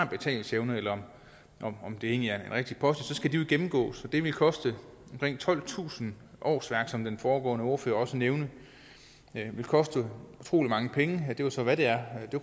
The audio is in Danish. betalingsevne eller om det egentlig er den rigtige post skal de jo gennemgås og det vil koste omkring tolvtusind årsværk som den foregående ordfører også nævnte det vil koste utrolig mange penge det er jo så hvad det er